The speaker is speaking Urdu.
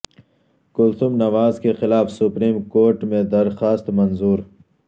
کلثوم نواز کے خلاف سپریم کور ٹ میں درخواست منظور